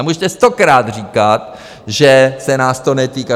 A můžete stokrát říkat, že se nás to netýká.